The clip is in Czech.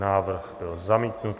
Návrh byl zamítnut.